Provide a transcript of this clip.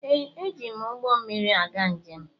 Ee, eji m ụgbọ mmiri aga njem.